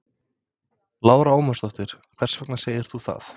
Lára Ómarsdóttir: Hvers vegna segir þú það?